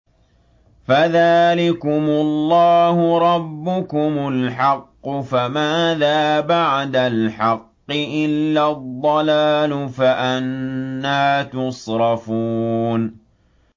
فَذَٰلِكُمُ اللَّهُ رَبُّكُمُ الْحَقُّ ۖ فَمَاذَا بَعْدَ الْحَقِّ إِلَّا الضَّلَالُ ۖ فَأَنَّىٰ تُصْرَفُونَ